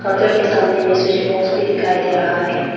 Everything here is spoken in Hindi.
काउंटर के सामने में स्विच बॉक्स भी दिखाई दे रहा है।